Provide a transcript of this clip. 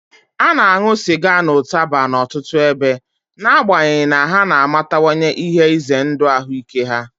A na-aṅụ sịga na ụtaba n'ọtụtụ ebe, n'agbanyeghị na ha na-amatawanye ihe ize ndụ ahụike ha.